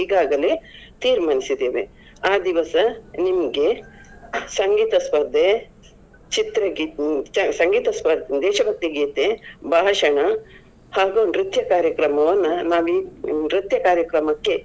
ಈಗಾಗಲೇ ತೀರ್ಮಾನಿಸಿದ್ದೇವೆ. ಆ ದಿವಸ ನಿಮ್ಮ್ಗೆ ಸಂಗೀತ ಸ್ಪರ್ಧೆ, ಚಿತ್ರಗೀ~ ಸಂಗೀತ ಸ್ಪ~ , ದೇಶಭಕ್ತಿ ಗೀತೆ, ಭಾಷಣ ಹಾಗೂ ನೃತ್ಯ ಕಾರ್ಯಕ್ರಮವನ್ನ ನಾವೀಗ ನೃತ್ಯ ಕಾರ್ಯಕ್ರಮಕ್ಕೆ.